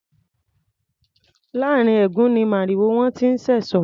Láàrín ẹ̀gún ni màrìwó wọn ti ń ṣẹ̀sọ́.